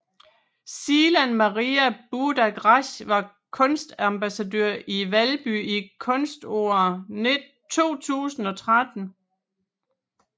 Silan Maria Budak Rasch var kulturambassadør i Valby i Kunståret 2013